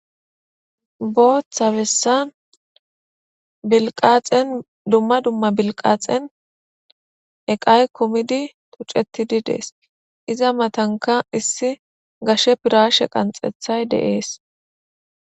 Booththa bessa bilqaxen dumma dumma bilqaxen eqay kumidi tuccetidi dees. Iza matanka issi gashe piraashe qanxethay de'ees